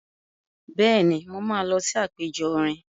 Bẹ́ẹ̀ni, mo máa lọ sí àpẹjọ orin.